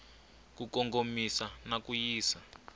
ku kongomisa na ku yisa